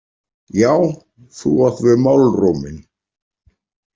Já, þú átt við málróminn!